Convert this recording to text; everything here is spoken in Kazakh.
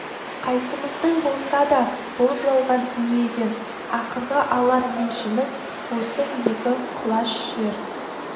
қайсымыздың болса да бұл жалған дүниеден ақырғы алар еншіміз осы екі құлаш жер